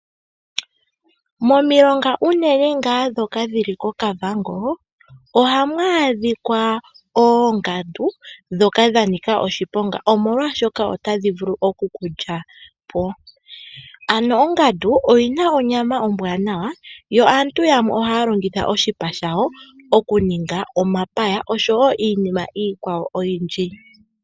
Momilonga unene ngaa ndhoka dhili koKavango ohamu adhika oongandu ndhoka dhanika oshiponga omolwaashoka otadhi vulu okukulyapo. Ano ongandu oyina onyama ombwanawa yo aantu yamwe ohaya longitha oshipa shayo okuninga omapaya oshowo iinima iikwawo oyindji.